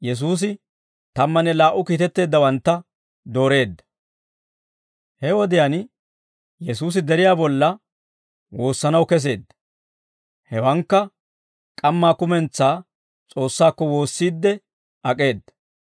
He wodiyaan Yesuusi deriyaa bolla woossanaw keseedda; hewankka k'ammaa kumentsaa S'oossaakko woossiidde ak'eeda.